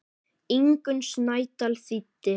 Ingunn Snædal þýddi.